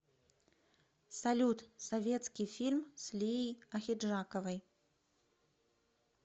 салют советский фильм с лией ахеджаковой